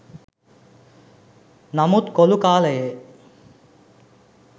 නමුත් කොළු කාලයේ